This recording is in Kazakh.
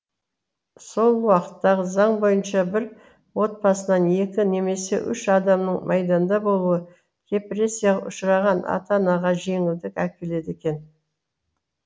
сол уақыттағы заң бойынша бір отбасынан екі немесе үш адамның майданда болуы репрессияға ұшыраған ата анаға жеңілдік әкеледі екен